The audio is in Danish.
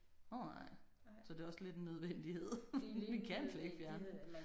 Nåh nej. Så det er også lidt en nødvendighed vi kan slet ikke fjerne dem